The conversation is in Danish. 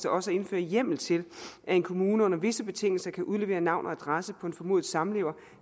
også at indføre hjemmel til at en kommune under visse betingelser kan udlevere navn og adresse på en formodet samlever